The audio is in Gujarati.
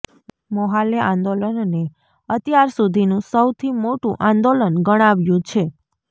મોલ્લાહે આંદોલનને અત્યાર સુધીનું સૌથી મોટું આંદોલન ગણાવ્યું છે